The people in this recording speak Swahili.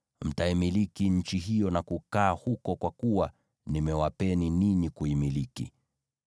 Mtaimiliki nchi hiyo na kukaa huko, kwa kuwa nimewapeni ninyi kuimiliki.